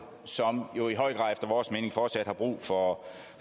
som jo i høj grad efter vores mening fortsat har brug for